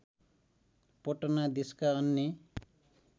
पटना देशका अन्य